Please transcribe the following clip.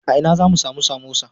A ina zamu samu samosa?